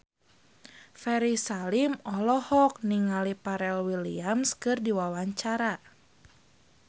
Ferry Salim olohok ningali Pharrell Williams keur diwawancara